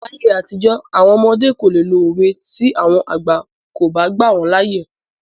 Láyé àtijọ́ àwọn ọmọdé kò le lo òwe tí àwọn àgbà kò bá gbà wọ́n láyè.